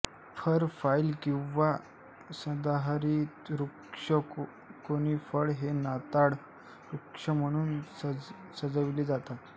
fur pine किंवा सदाहरित वृक्ष कोनिफर हे नाताळ वृक्ष म्हणून सजविले जातात